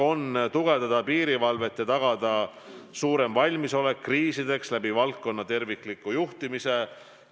Eesmärk on tugevdada piirivalvet ja tagada suurem valmisolek kriisideks valdkonna tervikliku juhtimise abil.